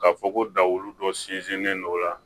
Ka fɔ ko dawulu dɔ sinsinlen don la